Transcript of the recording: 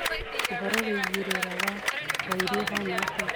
uhoro wĩĩgĩe rĩera wa waĩrĩ uhana atia